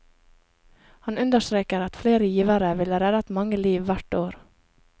Han understreker at flere givere ville reddet mange liv hvert år.